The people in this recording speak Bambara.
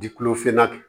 Ji kulo finna